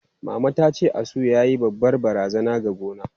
Mama tace, asu yayi babbar barazana ga gona.